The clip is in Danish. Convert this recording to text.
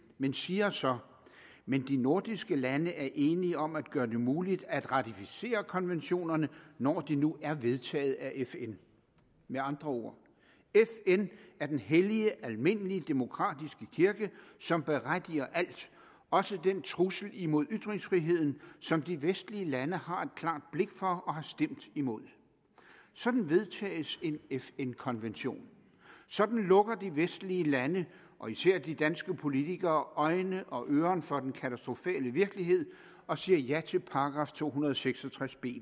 men siger så men de nordiske lande er enige om at gøre det muligt at ratificere konventionerne når de nu er vedtaget af fn med andre ord fn er den hellige almindelige demokratiske kirke som berettiger alt også den trussel imod ytringsfriheden som de vestlige lande har et klart blik for og har stemt imod sådan vedtages en fn konvention sådan lukker de vestlige lande og især de danske politikere øjne og øren for den katastrofale virkelighed og siger ja til § to hundrede og seks og tres b